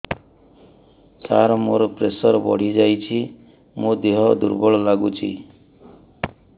ସାର ମୋର ପ୍ରେସର ବଢ଼ିଯାଇଛି ମୋ ଦିହ ଦୁର୍ବଳ ଲାଗୁଚି